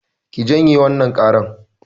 Ki janye wannan ƙaran!